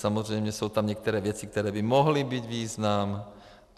Samozřejmě jsou tam některé věci, které by mohly mít význam.